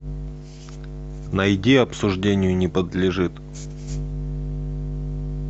найди обсуждению не подлежит